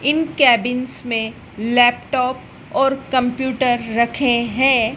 इन cabins में laptop और computer रखे हैं।